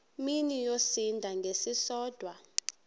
mini yosinda ngesisodwa